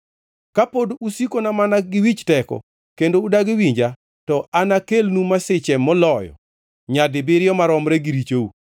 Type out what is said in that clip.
Kapod usikona mana gi wich teko kendo udagi winja, to anakelnu masiche moloyo nyadibiriyo maromre gi richou.